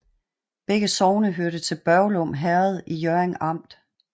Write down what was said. Begge sogne hørte til Børglum Herred i Hjørring Amt